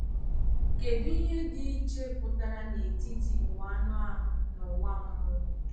Kèdụ ihe dị iche pụtara n’etiti ụwa anụ ahụ na ụwa mmụọ?